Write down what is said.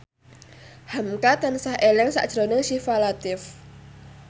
hamka tansah eling sakjroning Syifa Latief